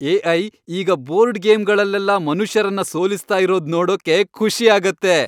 AI. ಈಗ board ಗೇಮ್ಗಳಲ್ಲೆಲ್ಲ ಮನುಷ್ಯರನ್ನ ಸೋಲಿಸ್ತಾ ಇರೋದ್ ನೋಡೋಕ್ಕೆ ಖುಷಿ ಆಗತ್ತೆ.